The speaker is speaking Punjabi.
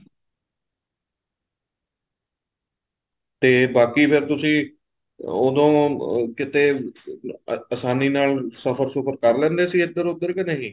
ਤੇ ਬਾਕੀ ਫ਼ੇਰ ਤੁਸੀਂ ਉਦੋਂ ਕਿੱਥੇ ਅਸਾਨੀ ਨਾਲ ਸਫ਼ਰ ਸੁਫਰ ਕਰ ਲੈਂਦੇ ਸੀ ਇੱਧਰ ਉੱਧਰ ਕੇ ਨਹੀਂ